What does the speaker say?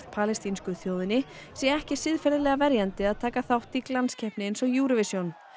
palestínsku þjóðinni sé ekki siðferðilega verjandi að taka þátt í glanskeppni eins og Eurovision